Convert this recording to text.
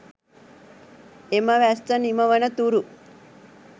එම වැස්ස නිමවනතුරු